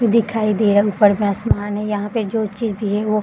दिखाई दे रहा है ऊपर में आसमान है यहां पे जो चीज भी है वो --